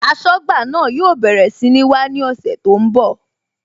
Aṣọ́gbà náà yóò bẹ̀rẹ̀ sí ní wá ní ọ̀sẹ̀ tó ń bọ̀